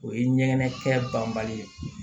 O ye ɲɛgɛn kɛ banbali ye